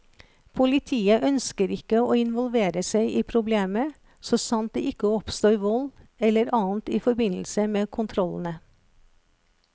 Politiet ønsker ikke å involvere seg i problemet, så sant det ikke oppstår vold eller annet i forbindelse med kontrollene.